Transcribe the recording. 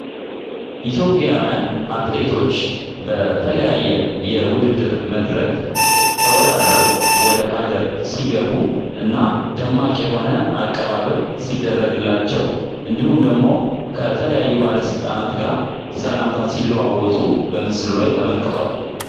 ኢትዮጵያዊያን አትሌቶች በተለያየ የውድድር መድረክ ተወዳድረው ወደ ሀገር ሲገቡ እና ደማቅ የሆነ አቀባበል ሲደረግላቸው እንዲሁም ደግሞ ባለስልጣናት ጋር ሰላምታ ሲሉ አወጡ በምስሉ ላይ ተመልክቷል